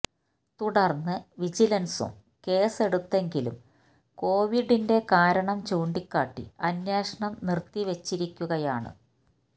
തുടര്ന്ന് വിജിലന്സും കേസ് എടുത്തെങ്കിലും കോവിഡിന്റെ കാരണം ചൂണ്ടിക്കാട്ടി അന്വേഷണം നിര്ത്തിവെച്ചിരിക്കുകയാണ്